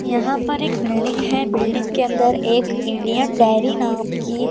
यहां पर एक बिल्डिंग है बिल्डिंग के अंदर एक इंडियन डेयरी नाम की--